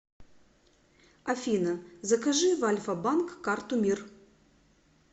афина закажи в альфа банк карту мир